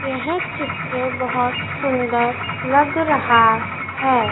यह चित्र बहोत सुंदर लग रहा है।